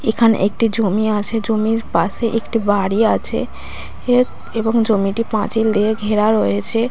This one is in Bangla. এখানে একটি জমি আছে জমির পাশে একটি বাড়ি আছে। এত এবং জমিটি পাঁচিল দিয়ে ঘেরা রয়েছে।